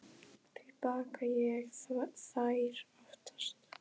Því baka ég þær oftast.